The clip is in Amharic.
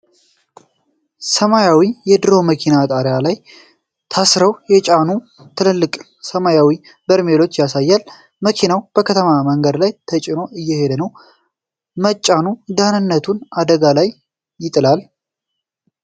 ሰማያዊ የድሮ መኪና ጣሪያው ላይ ታስረው የተጫኑ ትልልቅ ሰማያዊ በርሜሎችን ያሳያል። መኪናው በከተማ መንገድ ላይ ተጭኖ እየሄደ ነው። መጫኑ ደህንነቱን አደጋ ላይ ይጥላል?